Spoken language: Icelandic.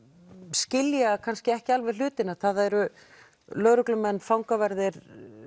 skilja kannski ekki alveg hlutina það eru lögreglumenn fangaverðir